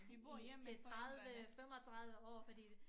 I til 30 35 år fordi det